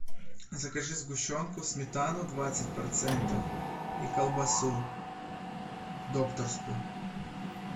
закажи сгущенку сметану двадцать процентов и колбасу докторскую